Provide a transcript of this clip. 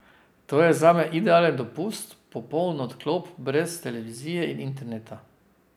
To je zame idealen dopust, popoln odklop, brez televizije in interneta ...